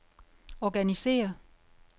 organisér